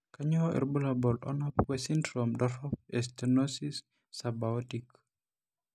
Kainyio irbulabul onaapuku esindirom dorop stenosis Subaortic?